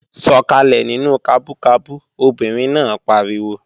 Sọkalẹ nínú kabú kabú! Obìnrin náà pariwo